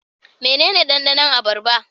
Mene ne dandanon abarba?